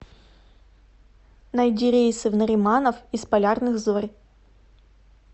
найди рейсы в нариманов из полярных зорь